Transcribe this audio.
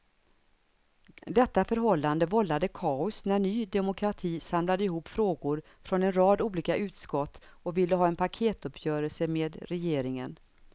Detta förhållande vållade kaos när ny demokrati samlade ihop frågor från en rad olika utskott och ville ha en paketuppgörelse med regeringen.